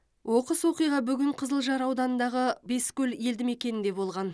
оқыс оқиға бүгін қызылжар ауданындағы бескөл елді мекенінде болған